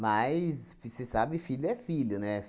vicê sabe, filho é filho, né?